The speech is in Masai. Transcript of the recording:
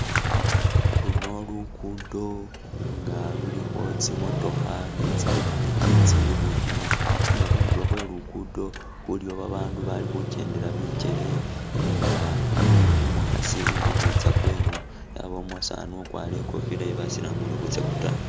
Luno lugudo nga lulikho tsimotokha ni tsipikipiki tsili khutima nenga khundulo khwe lugudo kulikho babaandu bali khukendela bigele nga aliwo umukhasi uli khukhwitsa kweno abawo umusaani ukwarile ikofila ye basilamu uli khutsya kwataayi.